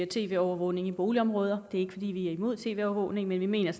tv overvågning i boligområder det er ikke fordi vi er imod tv overvågning men vi mener